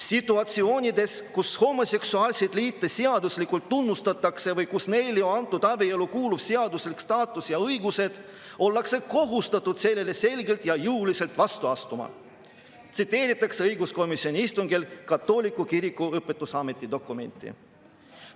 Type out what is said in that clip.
"Situatsioonides, kus homoseksuaalseid liite seaduslikult tunnustatakse või kus neile on antud abielule kuuluv seaduslik staatus ja õigused, ollakse kohustatud sellele selgelt ja jõuliselt vastu astuma," tsiteeritakse õiguskomisjoni istungil katoliku kiriku õpetusameti dokumenti.